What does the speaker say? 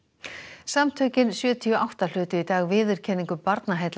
samtökin sjötíu og átta hlutu í dag viðurkenningu Barnaheilla